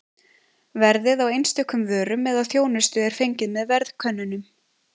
Verðið á einstökum vörum eða þjónustu er fengið með verðkönnunum.